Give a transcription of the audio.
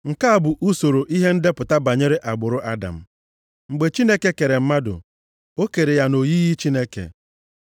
Nke a bụ usoro ihe ndepụta banyere agbụrụ Adam. Mgbe Chineke kere mmadụ, o kere ya nʼoyiyi Chineke.